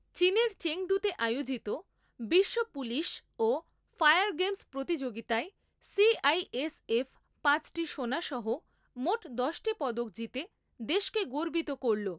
চীনের চেঙডুতে আয়োজিত বিশ্ব পুলিশ ও ফায়ার গেমস্ প্রতিযোগিতায় সিআইএসএফ পাঁচটি সোনা সহ মোট দশটি পদক জিতে দেশকে গর্বিত করলো